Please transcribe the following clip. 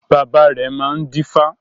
Bàbá rẹ̀ máa ń dífá